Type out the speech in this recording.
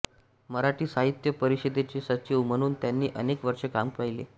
मराठी साहित्य परिषदेचे सचिव म्हणून त्यांनी अनेक वर्षे काम पाहिले